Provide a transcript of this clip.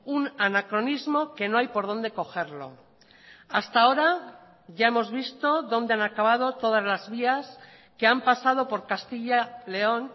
un anacronismo que no hay por dónde cogerlo hasta ahora ya hemos visto dónde han acabado todas las vías que han pasado por castilla león